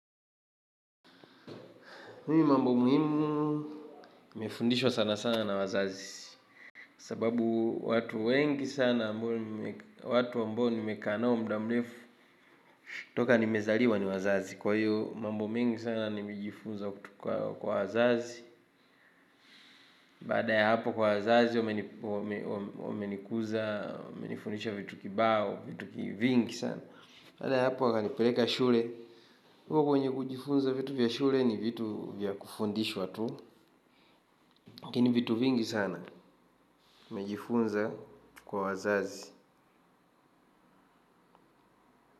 Mimi mambo muhimu, nimefundishwa sana sana na wazazi, sababu watu wengi sana, watu ambao nimekaa nao mda mrefu, toka nimezaliwa ni wazazi, kwa hiyo mambo mengi sana nimejifunza kutoka kwa wazazi, baada ya hapo kwa wazazi, wamenikuza, wamenifundisha vitu kibao, vitu vingi sana, baada ya hapo wakanipeleka shule, uko kwenye kujifunza vitu vya shule ni vitu vya kufundishwa tu. Lakini vitu vingi sana nimejifunza kwa wazazi.